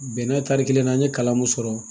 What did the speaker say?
Bɛnɛ tari kelen na an ye kalan mun sɔrɔ